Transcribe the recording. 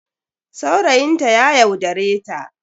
Saurayin ta ya yaudare ta.